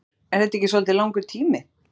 Haukur: Er það ekki svolítið langur tími?